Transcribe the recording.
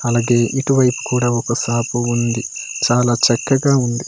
అలాగే ఇటు వైపు కూడా ఒక షాపు ఉంది చాలా చక్కగా ఉంది.